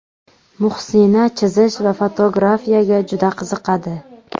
Muhsina chizish va fotografiyaga juda qiziqadi.